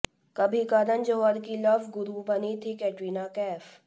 कभी करण जौहर की लव गुरु बनी थी कैटरीना कैफ